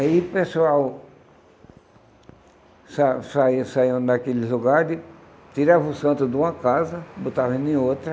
Aí o pessoal sa saía saía daqueles lugares, tirava o santo de uma casa, botava ele em outra.